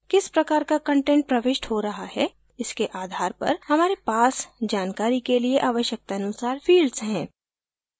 किस प्रकार का कंटेंट प्रविष्ट हो रहा है इसके आधार पर हमारे पास जानकारी के लिए आवश्यकतानुसार fields हैं